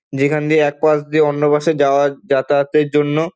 যেখান দিয়ে এক পাশ দিয়ে অন্য পাশে যাওয়ার যাতায়াত এর জন্য ।